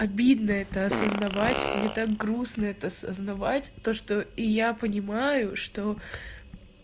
обидно это осознавать мне так грустно это осознавать то что и я понимаю что